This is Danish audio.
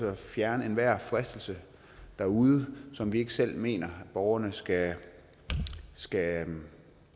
at fjerne enhver fristelse derude som vi ikke selv mener borgerne skal skal